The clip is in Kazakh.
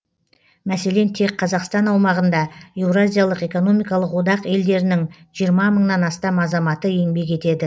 мәселен тек қазақстан аумағында еуразиялық экономикалық одақ елдерінің жиырма мыңнан астам азаматы еңбек етеді